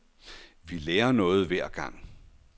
Vi lærer noget hver gang.